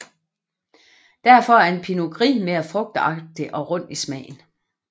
Derfor er en pinot gris mere frugtagtig og rund i smagen